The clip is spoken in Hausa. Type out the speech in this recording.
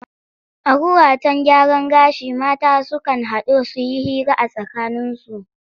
A wuraten gyaran gashi mata sukan haɗu su yi hira a tsakaninsu.